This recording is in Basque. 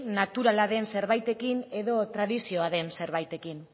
naturala den zerbaitekin edo tradizioa den zerbaitekin